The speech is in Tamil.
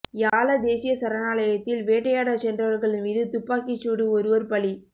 யால தேசிய சரணாலயத்தில் வேட்டையாடச்சென்றவரகள் மீது துப்பாக்கிச் சூடு ஒருவர் பலி